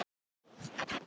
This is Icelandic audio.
Ekki lengur viss um neitt.